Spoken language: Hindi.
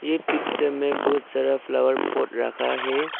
ये पिक्चर में बहुत सारा फ्लावर पॉट रखा है।